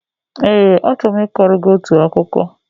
Ee, achọrọ m ịkọrọ gị otu akụkọ